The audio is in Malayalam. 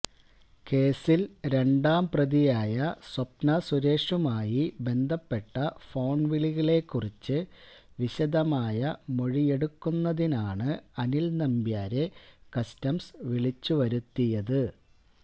കേസിൽ രണ്ടാം പ്രതിയായ സ്വപ്ന സുരേഷുമായി ബന്ധപ്പെട്ട ഫോണ് വിളികളെക്കുറിച്ച് വിശദമായ മൊഴിയെടുക്കുന്നതിനാണ് അനിൽ നമ്പ്യാരെ കസ്റ്റംസ് വിളിച്ചുവരുത്തിയത്